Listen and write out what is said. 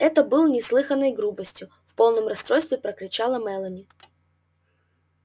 это было бы неслыханной грубостью в полном расстройстве прокричала мелани